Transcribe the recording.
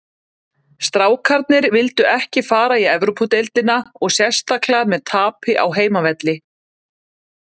Strákarnir vildu ekki fara í Evrópudeildina og sérstaklega með tapi á heimavelli.